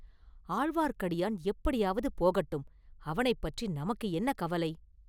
ஆழ்வார்க்கடியான் எப்படியாவது போகட்டும் அவனைப்பற்றி நமக்கு என்ன கவலை?